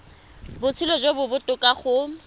botshelo jo bo botoka go